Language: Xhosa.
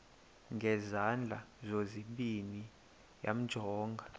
ngezandla zozibini yamjonga